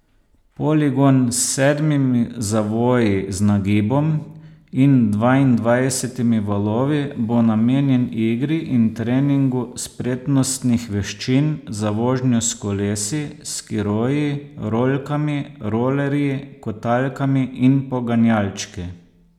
Poligon s sedmimi zavoji z nagibom in dvaindvajsetimi valovi bo namenjen igri in treningu spretnostnih veščin za vožnjo s kolesi, skiroji, rolkami, rolerji, kotalkami in poganjalčki.